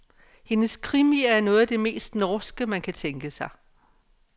Hendes krimier er noget af det mest norske man kan tænke sig.